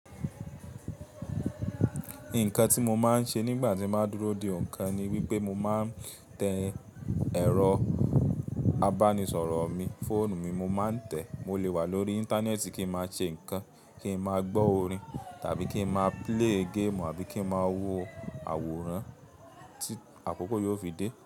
Nǹkan tí mo máa ń ṣe nígbà tí n bá dúró de nǹkan ni wípé mo máa ń tẹ ẹ̀rọ abánisọ̀rọ̀ mi, fóònù mi mo máa ń tẹ. Mo lè wà lórí Íńtánẹ́ẹ̀tì kí ma ṣe nǹkan, kí ma gbọ́ orin tàbí kí ma play game àbí kí ma wo àwòrán tí àkókò yóò fi dé.